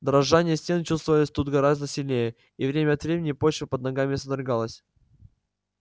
дрожание стен чувствовалось тут гораздо сильнее и время от времени почва под ногами содрогалась